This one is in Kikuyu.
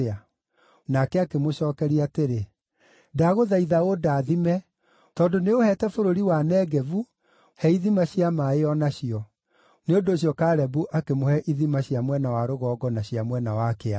Nake akĩmũcookeria atĩrĩ, “Ndagũthaitha ũndathime. Tondũ nĩũũheete bũrũri wa Negevu, he ithima cia maaĩ o nacio.” Nĩ ũndũ ũcio Kalebu akĩmũhe ithima cia mwena wa rũgongo na cia mwena wa kĩanda.